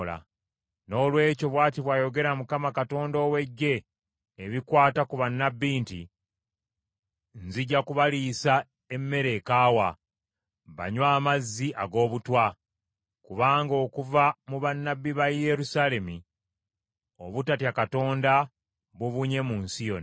Noolwekyo, bw’ati bw’ayogera Mukama Katonda ow’Eggye ebikwata ku bannabbi nti, “Nzija kubaliisa emmere ekaawa banywe amazzi ag’obutwa, kubanga okuva mu bannabbi ba Yerusaalemi, obutatya Katonda bubunye mu nsi yonna.”